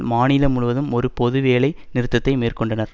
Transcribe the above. மாநிலம் முழுவதும் ஒரு பொது வேலை நிறுத்தத்தை மேற்கொண்டனர்